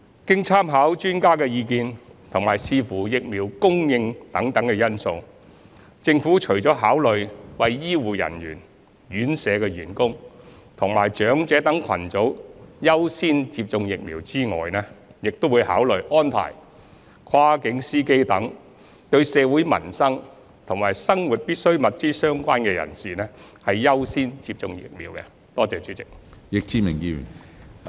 經參考專家的意見及視乎疫苗供應等因素，政府除了考慮為醫護人員、院舍員工及長者等群組優先接種疫苗外，亦會考慮安排跨境司機等對社會民生及生活必需物資相關人士，優先接種疫苗。